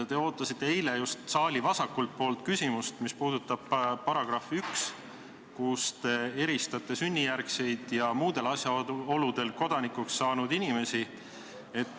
Te ootasite eile just saali vasakult poolt küsimust, mis puudutab § 1, kus te eristate sünnijärgseid ja muudel asjaoludel kodanikeks saanud inimesi.